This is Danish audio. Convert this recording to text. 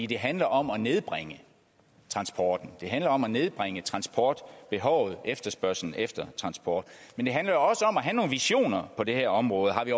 det handler om at nedbringe transporten det handler om at nedbringe transportbehovet efterspørgslen efter transport men det handler jo også om at have nogle visioner på det her område har vi